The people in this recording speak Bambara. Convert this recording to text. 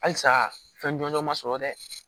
Halisa fɛn jɔnjɔ ma sɔrɔ dɛ